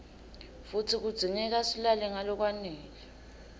futsi kudzingeka silale ngalokwanele